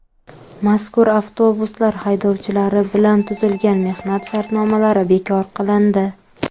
Mazkur avtobuslar haydovchilari bilan tuzilgan mehnat shartnomalari bekor qilindi.